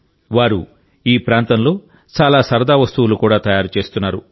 వారు ఈ ప్రాంతంలో చాలా సరదా వస్తువులు కూడా తయారు చేస్తున్నారు